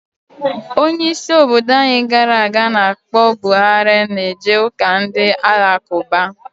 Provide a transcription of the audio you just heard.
Onye isi obodo anyi gara aga ana akpo Buhari na eje uka Ndị Alakụba